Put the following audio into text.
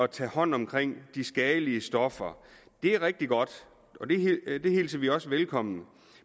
tage hånd om de skadelige stoffer er rigtig godt det hilser vi også velkommen